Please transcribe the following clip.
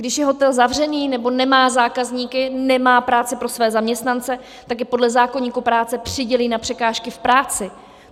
Když je hotel zavřený nebo nemá zákazníky, nemá práci pro své zaměstnance, tak je podle zákoníku práce přidělí na překážky v práci.